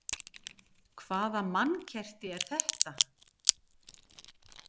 Hvaða mannkerti er þetta?